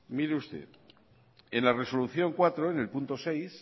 mire usted en la resolución cuatro en el punto seis